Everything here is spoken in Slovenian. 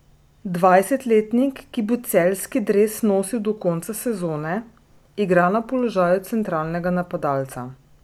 Dvajsetletnik, ki bo celjski dres nosil do konca sezone, igra na položaju centralnega napadalca.